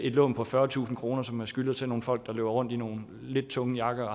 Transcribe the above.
et lån på fyrretusind kr som jeg skylder til nogle folk der løber rundt i nogle lidt tunge jakker